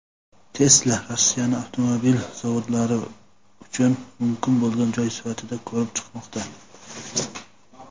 Tesla Rossiyani avtomobil zavodlari uchun mumkin bo‘lgan joy sifatida ko‘rib chiqmoqda.